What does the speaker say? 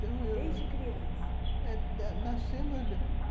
Desde criança? é, nascemos